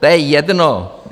To je jedno.